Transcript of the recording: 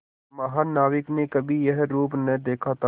महानाविक ने कभी यह रूप न देखा था